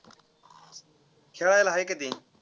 खेळायला हाय का ते?